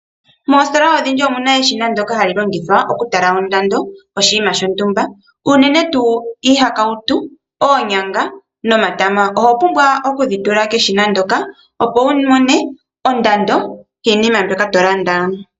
Moositola odhindji omuna eshina ndyoka hali longithwa okutala ondando yoshinima shontumba unene tuu iihakautu, oonyanga nomatama. Oho pumbwa okudhi tula keshina ndyoka opo wu mone ondando yoshinima shoka tolanda.